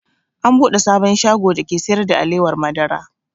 An buɗe sabon shago dake sayar da alewar madara